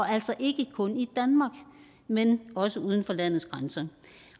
altså ikke kun i danmark men også uden for landets grænser